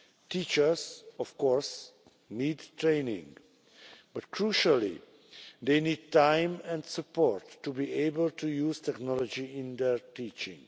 Teachers do of course need training, but crucially they need time and support to be able to use technology in their teaching.